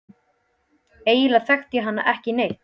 Eiginlega þekkti ég hann ekki neitt.